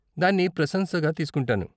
దాన్ని ప్రశంసగా తీస్కుంటాను.